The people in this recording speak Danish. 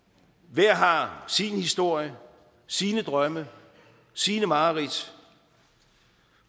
hver har sin historie sine drømme sine mareridt